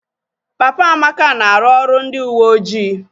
Papa Amaka na-arụ ọrụ ndị uweojii